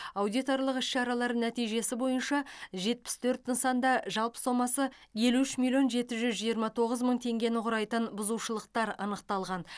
аудиторлық іс шаралар нәтижесі бойынша жетпіс төрт нысанда жалпы сомасы елу үш миллион жеті жүз жиырма тоғыз мың теңгені құрайтын бұзушылықтар анықталған